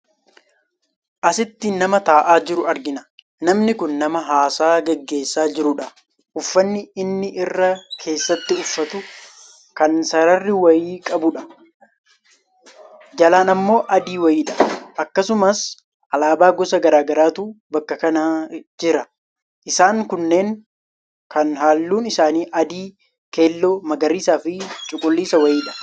Asitti nama taa'aa jiru argina. Namni Kun nama haasaa geggeessaa jiruudha. Uffanni inni irra keessatti uffatu kan sarara wayii qabuudha. Jalan ammoo adii wayiidha. Akkasumas alaabaa gosa garaagaraatu bakka kana jira isaan kunneen kan halluun isaanii adii, keelloo, magariisaafi cuquliisa wayiidha.